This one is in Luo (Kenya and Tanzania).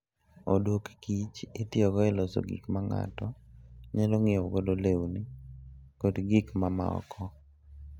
odok kich itiyogo e loso gik ma ng'ato nyalo ng'iewogo lewni kod gik mamoko.